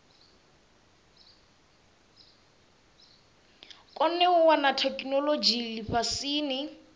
kone u wana theikinolodzhi lifhasini